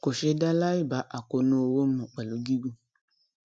kò ṣeé dáa láì bá àkóónú owó mu pẹlú gígùn